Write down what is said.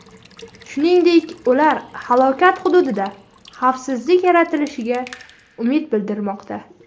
Shuningdek, ular halokat hududida xavfsizlik yaratilishiga umid bildirmoqda.